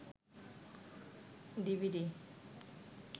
DVD